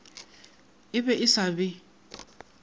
e be e sa be